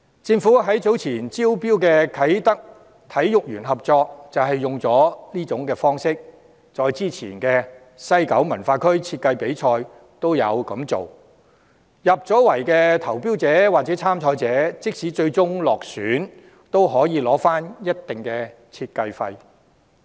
政府早前招標的啟德體育園合約便是採用上這種方式，再之前的西九文化區設計比賽亦有這樣做，入圍的投標者或參賽者即使最終落選，也可以取回一定的設計費。